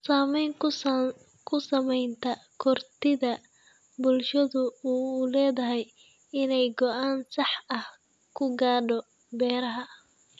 Saamayn ku samaynta kartida bulshadu u leedahay inay go'aan sax ah ka gaadho beeraha.